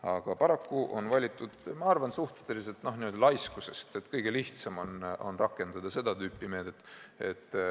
Aga paraku on leitud, ma arvan, et suurel määral suhtelisest laiskusest, et kõige lihtsam on rakendada seda tüüpi meedet.